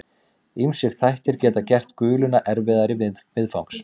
Ýmsir þættir geta gert guluna erfiðari viðfangs.